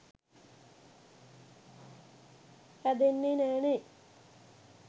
හැදෙන්නේ නැනේ.